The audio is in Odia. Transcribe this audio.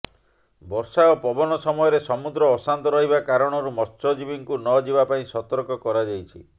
ବର୍ଷା ଓ ପବନ ସମୟରେ ସମୁଦ୍ର ଅଶାନ୍ତ ରହିବା କାରଣରୁ ମତ୍ସଜୀବୀଙ୍କୁ ନ ଯିବା ପାଇଁ ସତର୍କ କରାଯାଇଛି